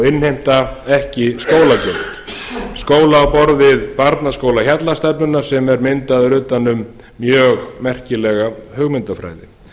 innheimta ekki skólagjöld skóla á borð við barnaskóla hjallastefnunnar sem er myndaður utan um mjög merkilega hugmyndafræði aukin fjölbreytni